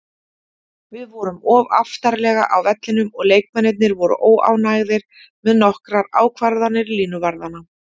Við vorum of aftarlega á vellinum og leikmennirnir voru óánægðir með nokkrar ákvarðanir línuvarðanna.